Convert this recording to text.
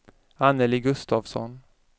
Annelie Gustavsson